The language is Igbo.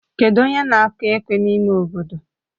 Kedụ onye na-akụ ekwe n'ime obodo?